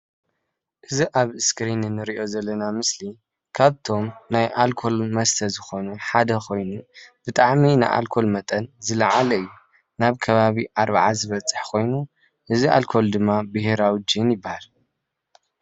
እዚ አብ እስኪሪን እንሪኦ ዘለና ምስሊ ካብቶም ናይ አልኮል መስተ ሓደ ኮይኑ ብጣዕሚ ንአልኮል መጠን ዝላዓለ እዩ። ናብ ከባቢ 40 ዝበፅሕ ኮይኑ እዚ አልኮል ድማ ብሄራዊ ጅን ይባሃል፡፡